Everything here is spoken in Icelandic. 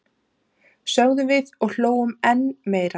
sögðum við og hlógum enn meira.